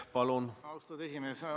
Aitäh, austatud esimees!